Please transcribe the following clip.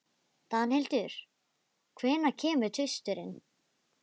Danhildur, hvenær kemur tvisturinn?